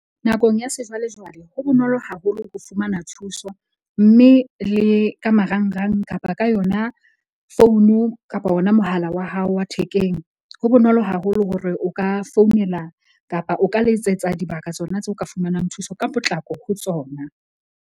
Nakong ya sejwalejwale, ho bonolo haholo ho fumana thuso. Mme le ka marangrang kapa ka yona founu kapa ona mohala wa hao wa thekeng. Ho bonolo haholo hore o ka founela kapa o ka letsetsa dibaka tsona tseo o ka fumanang thuso ka potlako ho tsona.